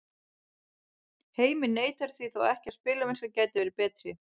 Heimir neitar því þó ekki að spilamennskan gæti verið betri.